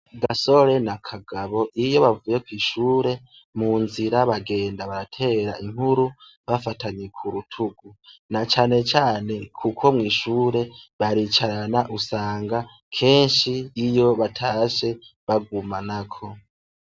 Gasore ma Kagabo iyo bavuye kw'ishuri bagenda munzira baratera inkuru bafatanye k'urutugu, nacanecane kuko mw'ishuri baricarana usanga keshi iyo batashe bagumanako.